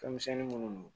Fɛnmisɛnnin minnu